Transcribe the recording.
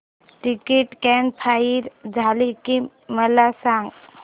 ticket confirm झाले की मला सांग